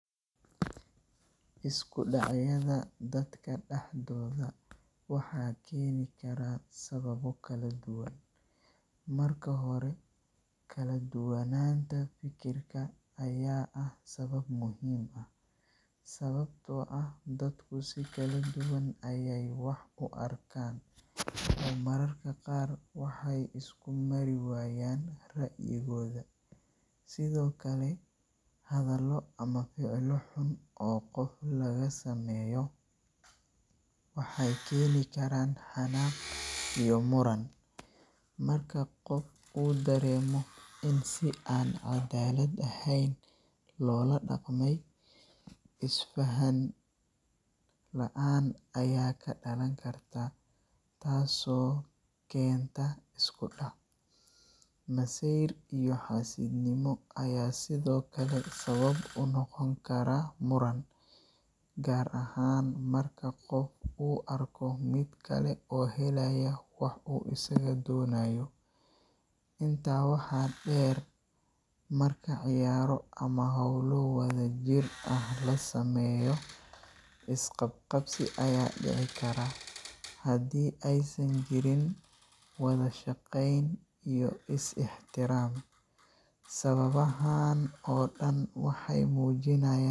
Isku dhacyada dadka dhexdooda waxaa keeni kara sababo kala duwan. Marka hore, kala duwanaanta fikirka ayaa ah sabab muhiim ah, sababtoo ah dadku si kala duwan ayay wax u arkaan oo mararka qaar waxay isku mari waayaan ra’yigooda. Sidoo kale, hadhallo ama ficillo xun oo qof laga sameeyo waxay keeni karaan xanaaq iyo muran. Marka qof uu dareemo in si aan cadaalad ahayn loola dhaqmay, isfaham la’aan ayaa ka dhalan karta taasoo keenta isku dhac. Masayr iyo xaasidnimo ayaa sidoo kale sabab u noqon kara muran, gaar ahaan marka qof uu arko mid kale oo helaya wax uu isagu doonayo. Intaa waxaa dheer, marka ciyaaro ama hawlo wadajir ah la sameeyo, is-qabqabsi ayaa dhici kara haddii aysan jirin wada shaqayn iyo is ixtiraam. Sababahan oo dhan waxay muujinayaa.